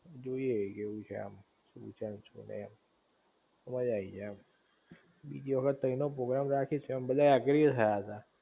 જોઈ એ ઇ કેવું છે એમ શું છે ને શું નઇ એમ, મજા આઈ જાઇ એમ બીજી વખત તય નો પ્રોગ્રામ રાખીશું એમ બધા એગ્રી એ થયા તા